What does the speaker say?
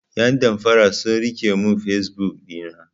Yan damfara sun rike mun fesbuk ɗina.